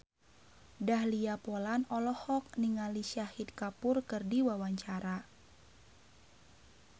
Dahlia Poland olohok ningali Shahid Kapoor keur diwawancara